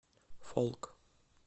фолк